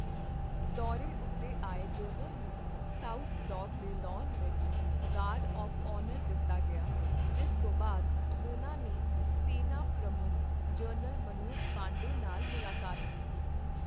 ਦੌਰੇ ਉੱਤੇ ਆਏ ਜਨਰਲ ਨੂੰ ਸਾਊਥ ਬਲਾਕ ਦੇ ਲਾਅਨ ਵਿੱਚ ਗਾਰਡ ਆਫ਼ ਔਨਰ ਦਿੱਤਾ ਗਿਆ, ਜਿਸ ਤੋਂ ਬਾਅਦ ਉਨ੍ਹਾਂ ਨੇ ਸੈਨਾ ਪ੍ਰਮੁ੍ੱਖ ਜਨਰਲ ਮਨੋਜ ਪਾਂਡੇ ਨਾਲ ਮੁਲਾਕਾਤ ਕੀਤੀ।